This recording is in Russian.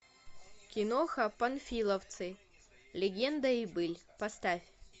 киноха панфиловцы легенда и быль поставь